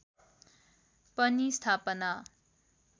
पनि स्थापना